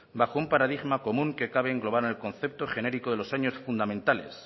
bajo un paradigma común que cabe englobar en el concepto genérico de los años fundamentales